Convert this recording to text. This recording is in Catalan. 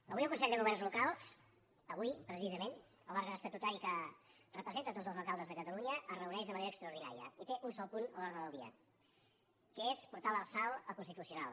avui el consell de governs locals avui precisament l’òrgan estatutari que representa tots els alcaldes de catalunya es reuneix de manera extraordinària i té un sol punt a l’ordre del dia que és portar l’arsal al constitucional